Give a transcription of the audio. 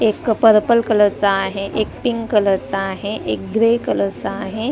एक पर्पल कलरचा आहे एक पिंक कलरचा आहे एक ग्रे कलरचा आहे.